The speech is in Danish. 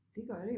Det gør det jo